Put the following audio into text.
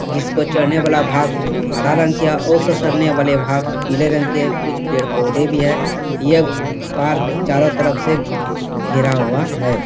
जिसको चढ़ने वाला भाग हरा रंग के है और ससरने वाला भाग पीला रंग के है। कुछ पेड़-पौधे भी हैं। यह पार्क चारों तरफ से घेरा हुआ है।